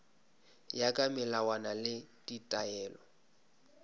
ya ka melawana le ditaelo